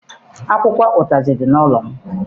Akwụkwọ ụtazị dị n'ụlọ m.